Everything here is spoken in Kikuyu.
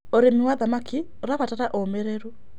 Ũrĩmĩ wa thamakĩ ũrabatara ũũmĩrĩrũ